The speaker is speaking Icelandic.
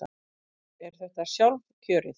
Er þetta sjálfkjörið?